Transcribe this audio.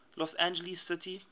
los angeles city